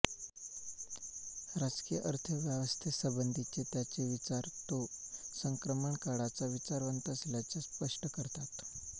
राजकीय अर्थव्यवस्थेसंबंधीचे त्याचे विचार तो संक्रमणकाळाचा विचारवंत असल्याचे स्पष्ट करतात